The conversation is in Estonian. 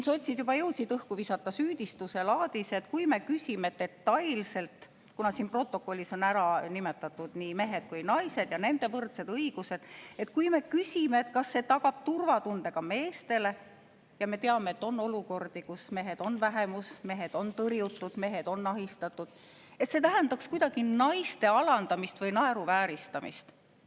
Sotsid juba jõudsid õhku visata süüdistuse laadis, et kui me küsime detailselt – kuna siin protokollis on ära nimetatud nii mehed kui ka naised ja nende võrdsed õigused –, kas see tagab turvatunde ka meestele – ja me teame, et on olukordi, kus mehed on vähemus, mehed on tõrjutud, mehed on ahistatud –, et see tähendaks kuidagi naiste alandamist või naeruvääristamist.